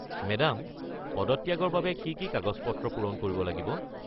Madam, পদত্যাগৰ বাবে কি কি কাগজ-পত্ৰ পূৰণ কৰিব লাগিব?